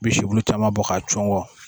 I bɛ sikolo caman bɔ k'a cun kɔ